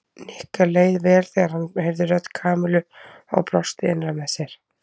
Nikka leið vel þegar hann heyrði rödd Kamillu og brosti innra með sér.